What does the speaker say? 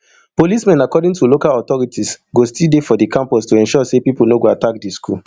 policemen according to local authorities go still dey for di campus to ensure say pipo no go attack di school